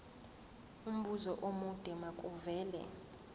umbuzo omude makuvele